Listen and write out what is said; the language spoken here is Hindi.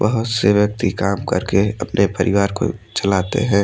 वह से व्यक्ती काम करके अपने परिवार को चलाते है।